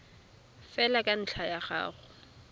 fela ka ntlha ya go